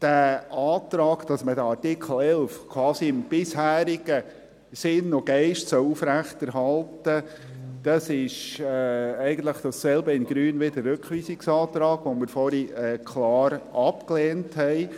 Der Antrag, wonach man den Artikel 11 quasi im bisherigen Sinn und Geist aufrechterhalten solle, ist eigentlich dasselbe in grün, wie der Rückweisungsantrag, den wir vorhin klar abgelehnt haben.